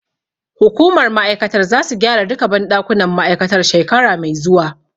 Hukumar ma'aikatar zasu gyara duka banɗakunan ma'aikatar shekara mai zuwa.